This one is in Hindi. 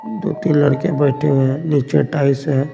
दो-तीन लड़के बैठे हुए हैं नीचे टाइस है।